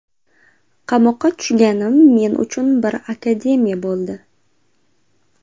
Qamoqqa tushganim men uchun bir akademiya bo‘ldi.